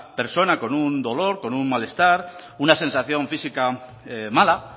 persona con un dolor con un malestar una sensación física mala